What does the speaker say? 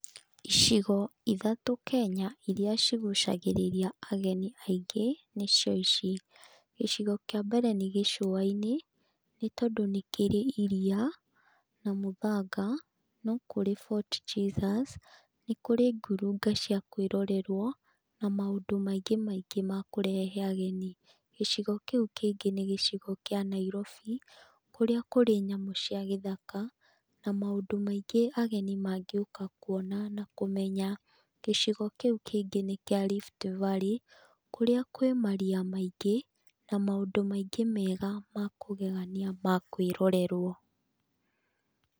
Icigo ithatũ iria cigucagĩrĩa ageni aingĩ Kenya nĩcio ici: gĩcigo kĩa mbere nĩ gĩcũa-inĩ, nĩ tondũ nĩ kĩrĩ iria na mũthanga, no kũrĩ Fort Jesus, nĩ kũrĩ ngurunga cia kwĩrorerwo, na maũndũ maingĩ maingĩ ma kũrehe ageni. Gĩcigo kĩu kĩngĩ ni gĩcigo kĩa Nairobi, kũrĩa kũrĩ nyamũ cia gĩthaka na maũndũ maingĩ ageni mañgĩũka kuona nakũmenya. Gĩcigo kĩu kĩngĩ nĩ kĩa Rift Valley, kũrĩa kwĩ maria maingĩ na maũndũ maingĩ mega ma kũgegania ma kwĩrorerwo.